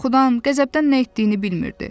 Qorxudan, qəzəbdən nə etdiyini bilmirdi.